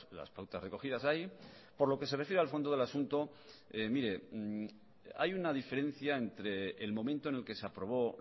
las pautas recogidas ahí por lo que se refiere al fondo del asunto mire hay una diferencia entre el momento en el que se aprobó